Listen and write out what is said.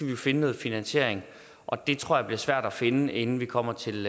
jo finde noget finansiering og den tror jeg bliver svær at finde inden vi kommer til